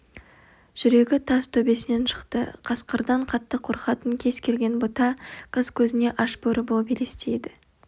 жүрегі тас төбесінен шықты қасқырдан қатты қорқатын кез келген бұта қыз көзіне аш бөрі болып елестейді